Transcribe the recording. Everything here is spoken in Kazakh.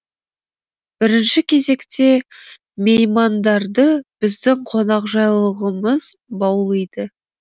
бірінші кезекте меймандарды біздің қонақжайлылығымыз баулиды